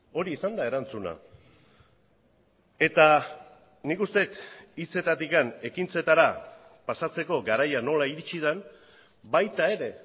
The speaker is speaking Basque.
hori izan da erantzuna eta nik uste dut hitzetatik ekintzetara pasatzeko garaia nola iritsi den baita ere